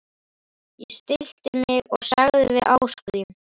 Ég stillti mig og sagði við Ásgrím